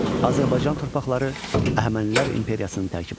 Azərbaycan torpaqları Əhəmənilər imperiyasının tərkibində.